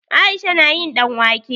Aisha na yin ɗanwake.